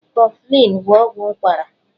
Kọflịn bụ ọgwụ ụkwara.